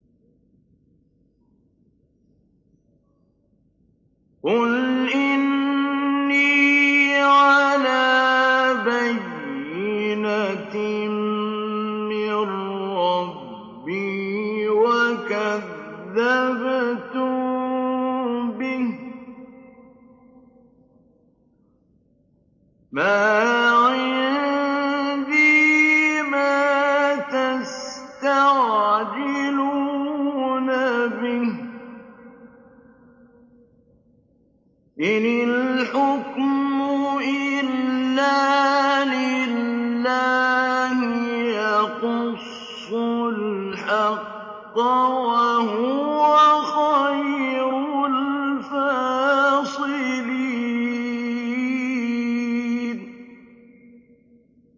قُلْ إِنِّي عَلَىٰ بَيِّنَةٍ مِّن رَّبِّي وَكَذَّبْتُم بِهِ ۚ مَا عِندِي مَا تَسْتَعْجِلُونَ بِهِ ۚ إِنِ الْحُكْمُ إِلَّا لِلَّهِ ۖ يَقُصُّ الْحَقَّ ۖ وَهُوَ خَيْرُ الْفَاصِلِينَ